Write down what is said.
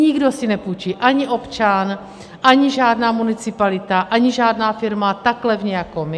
Nikdo si nepůjčí, ani občan, ani žádná municipalita, ani žádná firma tak levně jako my.